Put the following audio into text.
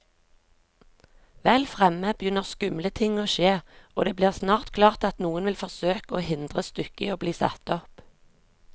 Vel fremme begynner skumle ting å skje, og det blir snart klart at noen vil forsøke å hindre stykket i bli satt opp.